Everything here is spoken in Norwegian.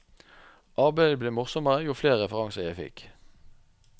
Arbeidet ble morsommere jo flere referanser jeg fikk.